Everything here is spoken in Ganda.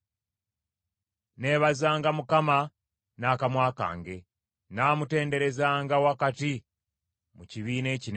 Nneebazanga Mukama n’akamwa kange; nnaamutenderezanga wakati mu kibiina ekinene.